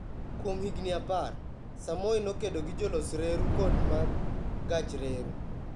Kuom higini apar, Samoei nokedo gi jolos reru kod mag gach reru.